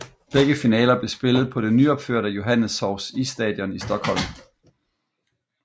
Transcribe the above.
Begge finaler blev spillet på det nyopførte Johanneshovs isstadion i Stockholm